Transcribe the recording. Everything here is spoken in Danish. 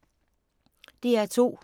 DR2